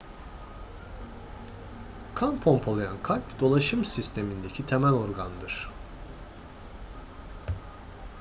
kan pompalayan kalp dolaşım sistemindeki temel organdır